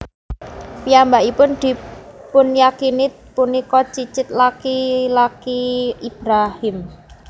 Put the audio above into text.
Piyambakipun dipunyakini punika cicit laki laki Ibrahim